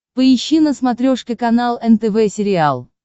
поищи на смотрешке канал нтв сериал